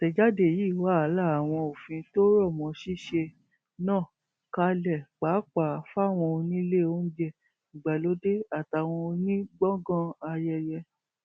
àtẹjáde yìí wàá la àwọn òfin tó rọ mọ ṣíṣe náà kalẹ pàápàá fáwọn onílé oúnjẹ ìgbàlódé àtàwọn onígbọngàn ayẹyẹ